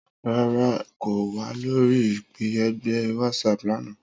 Rara, Emi ko wa lori ipe ẹgbẹ Whatsapp lana.